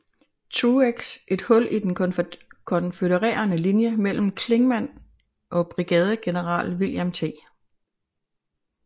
Truex et hul i den konfødererede linje mellem Clingman og brigadegeneral William T